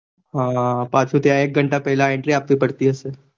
હહ પાછું ત્યાં એક ઘંટા પેલા entry આપવી પડતી હશે.